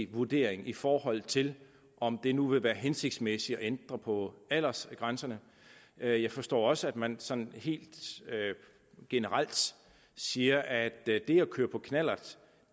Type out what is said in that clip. vurdering i forhold til om det nu vil være hensigtsmæssigt at ændre på aldersgrænserne jeg jeg forstår også at man sådan helt generelt siger at det at køre på knallert